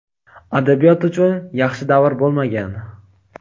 Adabiyot uchun yaxshi davr bo‘lmagan.